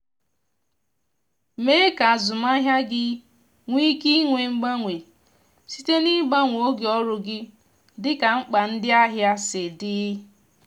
mee ka azụmahịa gị nwee ike inwe mgbanwe site n’ịgbanwe oge ọrụ gị dịka mkpa ndị ahịa si dị.